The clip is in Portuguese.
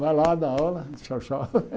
Vai lá, dá aula, e tchau, tchau. Risos